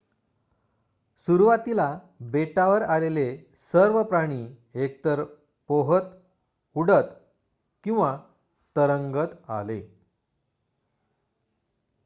सुरुवातीला बेटावर आलेले सर्व प्राणी इथे एकतर पोहत उडत किंवा तरंगत आले